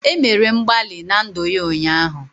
E mere mgbalị na ndụ ya ụnyaahụ